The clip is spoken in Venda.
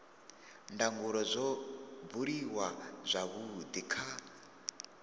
ndangulo zwo buliwa zwavhudi kha